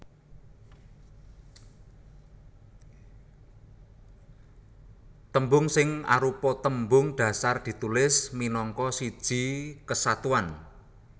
Tembung sing arupa tembung dhasar ditulis minangka siji kesatuan